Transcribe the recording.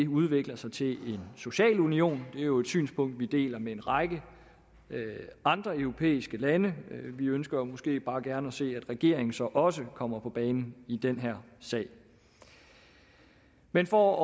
udvikler sig til en social union det er jo et synspunkt vi deler med en række andre europæiske lande vi ønsker måske bare gerne at se at regeringen så også kommer på banen i den her sag men for